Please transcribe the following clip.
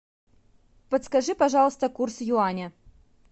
подскажи пожалуйста курс юаня